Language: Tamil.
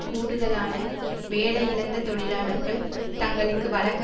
கூடுதலான வேலையிழந்த தொழிலாளர்கள் தங்களுக்கு வழங்க